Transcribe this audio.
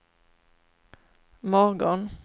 morgon